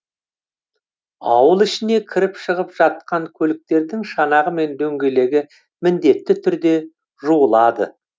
ауыл ішіне кіріп шығып жатқан көліктердің шанағы мен дөңгелегі міндетті түрде жуылады